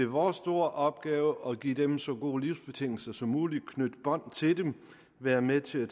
vores store opgave at give dem så gode livsbetingelser som muligt at knytte bånd til dem være med til